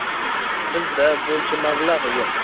Bizda buncha mablag‘ yo‘q.